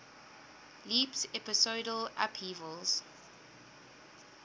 leaps episodal upheavals